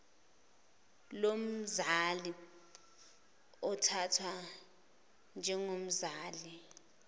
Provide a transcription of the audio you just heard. lomzali uthathwa njengomzali